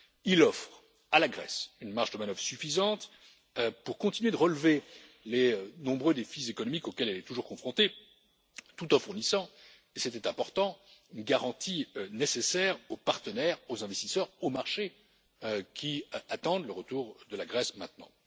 Il offre à la Grèce une marge de manœuvre suffisante pour continuer de relever les nombreux défis économiques auxquels elle est toujours confrontée, tout en fournissant et c'était important une garantie nécessaire aux partenaires, aux investisseurs et aux marchés, qui attendent le retour de la Grèce maintenant.